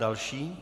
Další.